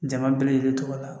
Jama bɛɛ lajɛlen tɔgɔ la